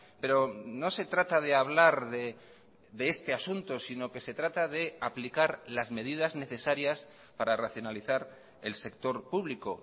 pero no se trata de hablar de este asunto sino que se trata de aplicar las medidas necesarias para racionalizar el sector público